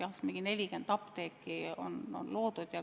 Jah, mingi 40 apteeki on loodud.